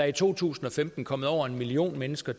i to tusind og femten kommet over en million mennesker